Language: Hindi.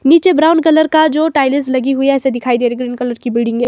नीचे ब्राउन कलर का जो टाइल्स लगी हुई है ऐसे दिखाई दे रहा ग्रीन कलर की बिल्डिंग है।